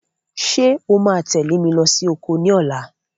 Ṣé o máa tẹ̀lé mi lọ sí oko ní ọ̀la?